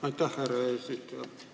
Aitäh, härra eesistuja!